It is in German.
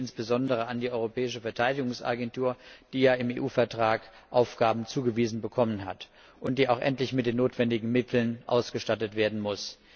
Ich denke hier insbesondere an die Europäische Verteidigungsagentur, die ja im EU Vertrag Aufgaben zugewiesen bekommen hat und die auch endlich mit den notwendigen Mitteln ausgestattet werden muss.